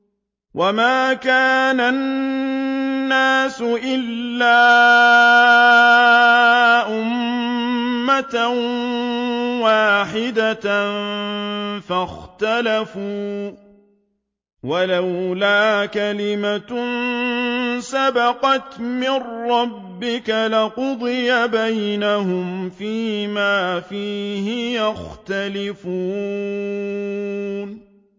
وَمَا كَانَ النَّاسُ إِلَّا أُمَّةً وَاحِدَةً فَاخْتَلَفُوا ۚ وَلَوْلَا كَلِمَةٌ سَبَقَتْ مِن رَّبِّكَ لَقُضِيَ بَيْنَهُمْ فِيمَا فِيهِ يَخْتَلِفُونَ